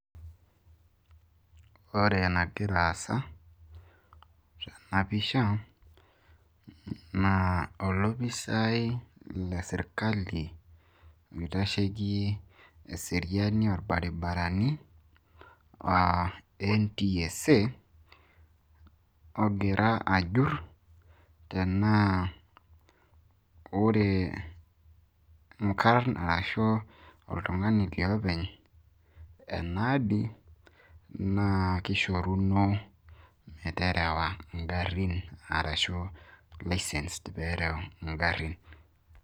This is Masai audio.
ore enagira aasa tena pisha naa olopisaai lesirkali, oitasheki eseriani orbaribarani, aa ntsa, ogira ajur, tenaa ore inkarn ashu oltung'ani liopeny enagari naa kishoruno licence pee ereu igarin.